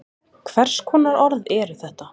Hvers konar orð eru þetta?